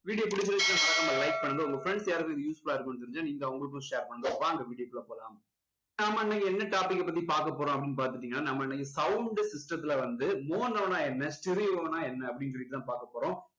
video புடிச்சிருந்துச்சுன்னா மறக்காம like பண்ணுங்க உங்க friends யாருக்காவது useful லா இருக்கும்னு தெரிஞ்சா நீங்க அவங்களுக்கும் share பண்ணுங்க வாங்க video குள்ள போலாம். நாம இன்னைக்கு என்ன topic பத்தி பார்க்க போறோம் அப்படின்னு பாத்துக்கிட்டீங்கன்னா நம்ம இன்னைக்கு sound system துல வந்து mono னா என்ன stereo னா என்ன அப்படின்னு சொல்லிட்டு தான் பார்க்க போறோம்